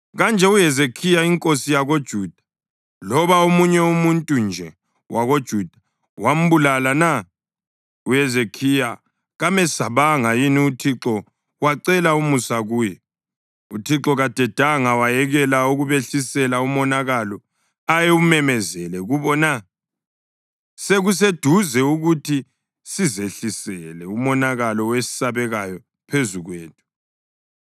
Kanje uHezekhiya inkosi yakoJuda loba omunye umuntu nje wakoJuda wambulala na? UHezekhiya kamesabanga yini uThixo wacela umusa kuye? UThixo kadedanga wayekela ukubehlisela umonakalo ayewumemezele kubo na? Sekuseduze ukuthi sizehlisele umonakalo owesabekayo phezu kwethu!”